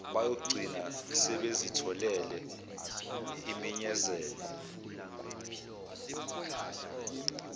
bayogcina sebezitholele iminyezane